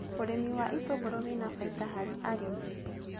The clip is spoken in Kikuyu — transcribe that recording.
Ũrĩmi wa itũngũrũ wĩna faida harĩ arĩmi